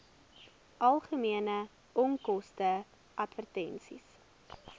algemene onkoste advertensies